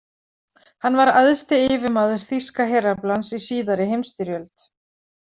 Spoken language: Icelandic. Hann var æðsti yfirmaður þýska heraflans í síðari heimsstyrjöld.